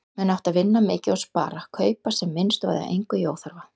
Menn áttu að vinna mikið og spara, kaupa sem minnst og eyða engu í óþarfa.